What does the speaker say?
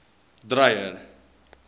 dreyer